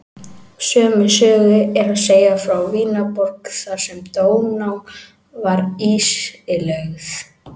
Sömu sögu er að segja frá Vínarborg þar sem Dóná var ísilögð.